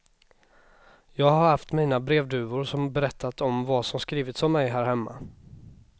Jag har haft mina brevduvor som berättat om vad som skrivits om mig här hemma.